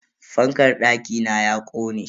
Fankar dakina ya kone.